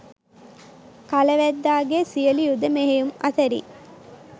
කල වැද්දාගේ සියලු යුධ මෙහෙයුම් අතරින්